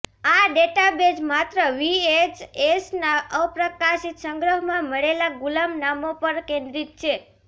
આ ડેટાબેઝ માત્ર વીએચએસના અપ્રકાશિત સંગ્રહમાં મળેલા ગુલામ નામો પર કેન્દ્રિત છે